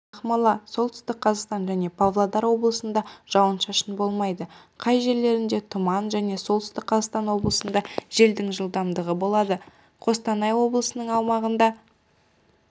ақмола солтүстік қазақстан және павлодар облыстарында жауын-шашын болмайды кей жерлерінде тұман және солтүстік қазақстан облысында желдің жылдамдығы болады қостанай облысының аумағында